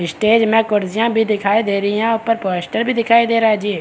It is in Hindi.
स्टेज में कुर्सियाँ भी दिखाई दे रही है | ऊपर पोस्टर भी दिखाई दे रहा है जी।